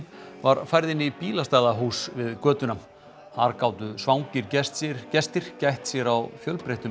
var færð inn í bílastæðahús við götuna þar gátu svangir gestir gestir gætt sér á fjölbreyttum